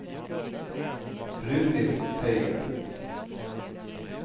Brynhild Teigen